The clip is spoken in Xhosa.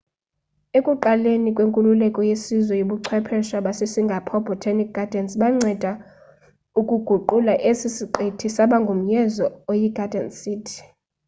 ekuqaleni kwenkululeko yesizwe ubuchwephesha basesingapore botanic gardens banceda ukuguqula esi siqithi saba ngumyezo oyi garden city